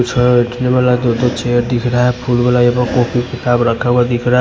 कुछ वाला दो दो चेयर दिख रहा हैं फूल वाला यहाँ पे कॉपी किताब दिख रहा--